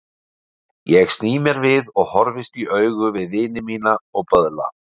Ég sný mér við og horfist í augu við vini mína og böðla.